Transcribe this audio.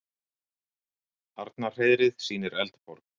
Arnarhreiðrið sýnir Eldborg